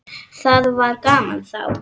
Það var gaman þá.